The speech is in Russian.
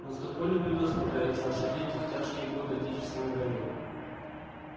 но с такой ли бедой справлялись наши дети в тяжкие годы отечественной войны